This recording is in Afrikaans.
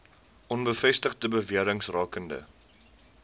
onbevestigde bewerings rakende